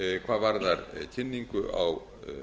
hvað varðar kynningu á